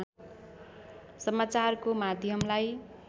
समाचारको माध्यमलाई